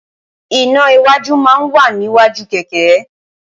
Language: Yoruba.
iná́ iwájú máa ń wà níwájú kẹ̀kẹ́